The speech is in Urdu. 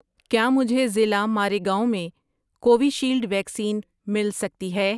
کیا مجھے ضلع ماریگاؤں میں کووِشیلڈ ویکسین مل سکتی ہے؟